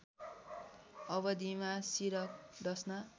अवदिमा सिरक डस्ना